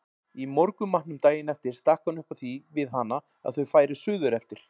Í morgunmatnum daginn eftir stakk hann upp á því við hana að þau færu suðureftir.